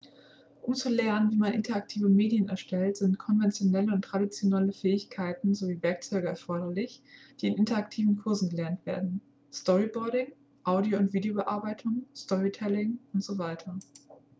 um zu lernen wie man interaktive medien erstellt sind konventionelle und traditionelle fähigkeiten sowie werkzeuge erforderlich die in interaktiven kursen erlernt werden storyboarding audio- und videobearbeitung storytelling usw.